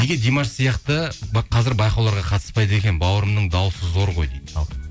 неге димаш сияқты қазір байқауларға қатыспайды екен бауырымның дауысы зор ғой дейді ал